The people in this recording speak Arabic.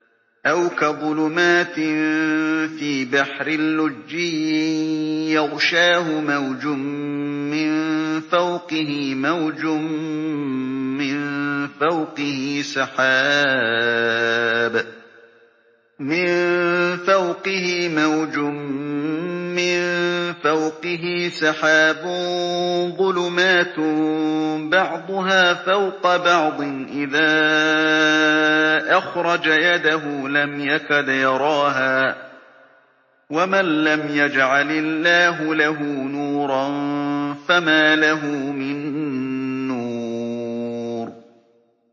أَوْ كَظُلُمَاتٍ فِي بَحْرٍ لُّجِّيٍّ يَغْشَاهُ مَوْجٌ مِّن فَوْقِهِ مَوْجٌ مِّن فَوْقِهِ سَحَابٌ ۚ ظُلُمَاتٌ بَعْضُهَا فَوْقَ بَعْضٍ إِذَا أَخْرَجَ يَدَهُ لَمْ يَكَدْ يَرَاهَا ۗ وَمَن لَّمْ يَجْعَلِ اللَّهُ لَهُ نُورًا فَمَا لَهُ مِن نُّورٍ